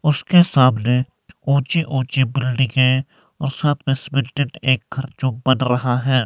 उसके सामने ऊंची ऊंची बिल्डिंगे और सामने सीमेंटेड एक घर जो बन रहा है।